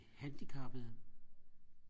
handicappede